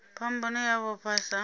phambano i a vhofha sa